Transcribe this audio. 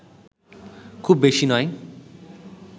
খুব বেশি নয়